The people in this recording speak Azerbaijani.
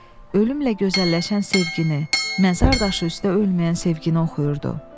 Ölümlə gözəlləşən sevgini, məzar daşı üstə ölməyən sevgini oxuyurdu.